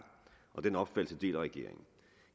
og den opfattelse deler regeringen